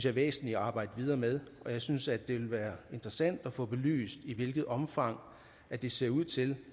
er væsentligt at arbejde videre med jeg synes at det ville være interessant at få belyst i hvilket omfang det ser ud til